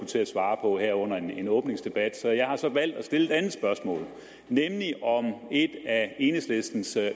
til at svare på her under en åbningsdebat så jeg har valgt at stille et andet spørgsmål nemlig om et af enhedslistens